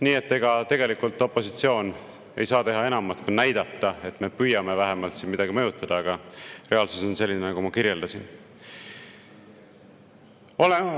Nii et ega tegelikult opositsioon ei saa teha enamat, kui näidata, et me vähemalt püüame siin midagi mõjutada, aga reaalsus on selline, nagu ma kirjeldasin.